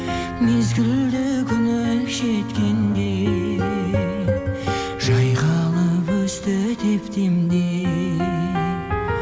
мезгілді күнің жеткенде жайқалып өсті деп демде